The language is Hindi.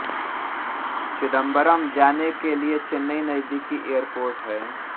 चिदंबरम जाने के लिए चेन्नई नजदीकी एयरपोर्ट है